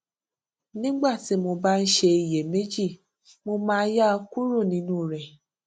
nígbà tí mo bá ń ṣe iyèméjì mo máa yà kúrò nínú rẹ